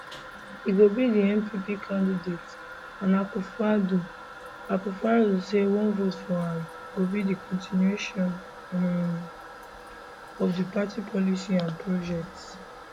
e go be di npp candidate and akufoaddo akufoaddo say one vote for am go be di continuation um of di party policies and projects